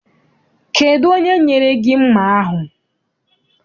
Kedụ onye nyere gị mma ahụ?